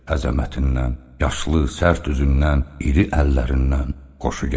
Əzəmətindən, yaşlı, sərt üzündən, iri əllərindən xoşu gəlirdi.